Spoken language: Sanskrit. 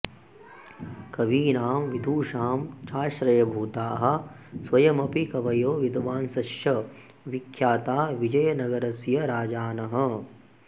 कवीनां विदुषां चाश्रयभूताः स्वयमपि कवयो विद्वांसश्च विख्याता विजयनगरस्य राजानः